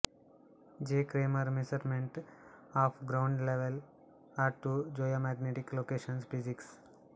J Kremer measurement of ground level at two geomagnetic locations physics